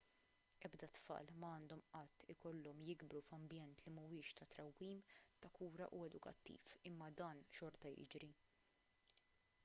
ebda tfal ma għandhom qatt ikollhom jikbru f'ambjent li mhuwiex ta' trawwim ta' kura u edukattiv imma dan xorta jiġri